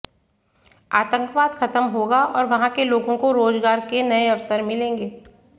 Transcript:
आतंकवाद खत्म होगा और वहां के लोगों को रोजगार के नए अवसर मिलेंगे